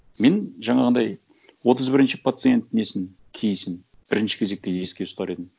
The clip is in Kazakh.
мен жаңағындай отыз бірінші пациент несін кейсін бірінші кезекте еске ұстар едім